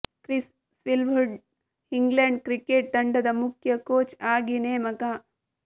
Chris Silverwood England cricket ತಂಡದ ಮುಖ್ಯ coach ಆಗಿ ನೇಮಕ